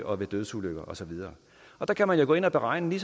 og dødsulykker og så videre og der kan man jo gå ind og beregne